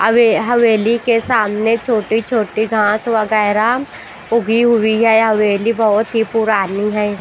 अ वे हवेली के सामने छोटी-छोटी घास वगैरा उगी हुई है हवेली बहुत ही पुरानी है।